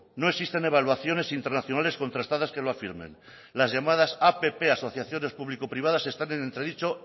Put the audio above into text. no existen evaluaciones internacionales contrastadas que lo afirmen las llamadas app asociaciones público privadas están en entre dicho